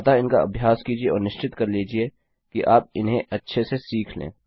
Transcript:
अतः इनका अभ्यास कीजिये और निश्चित कर लीजिये कि आप उन्हें अच्छे से सीख लें